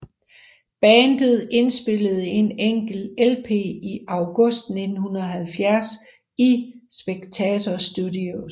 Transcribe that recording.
Bandet indspillede en enkelt LP i August 1970 i Spectator Studios